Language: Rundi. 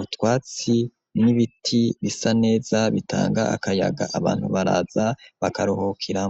utwatsi n'ibiti bisa neza bitanga akayaga abantu baraza bakaruhukiraho.